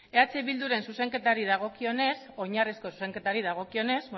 eh bilduren zuzenketari dagokionez